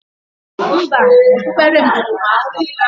Mba, okpukpere m juru m afo.